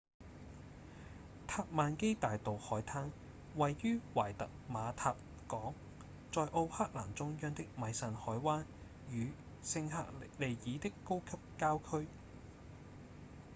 塔瑪基大道海灘位於懷特瑪塔港在奧克蘭中央的米慎海灣與聖赫利爾的高級郊區